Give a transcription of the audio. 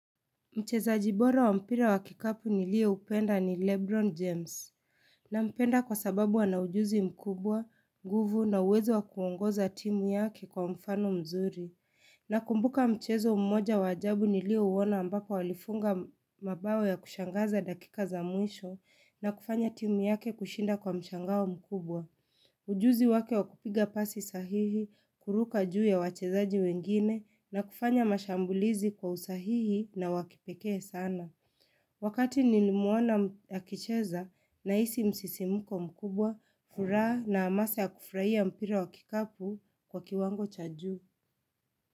Mchezaji bora wa mpira wa kikapu niliyeupenda ni Lebron James. Nampenda kwa sababu ana ujuzi mkubwa, nguvu na uwezo wa kuongoza timu yake kwa mfano mzuri. Nakumbuka mchezo mmoja wa ajabu niliouona ambapo alifunga mabao ya kushangaza dakika za mwisho na kufanya timu yake kushinda kwa mshangao mkubwa. Ujuzi wake wa kupiga pasi sahihi, kuruka juu ya wachezaji wengine na kufanya mashambulizi kwa usahihi na wa kipekee sana. Wakati nilimuona akicheza nahisi msisimko mkubwa, furaha na amasa ya kufurahia mpira wa kikapu kwa kiwango cha juu.